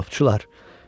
Qopçular!